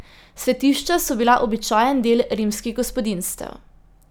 Svetišča so bila običajen del rimskih gospodinjstev.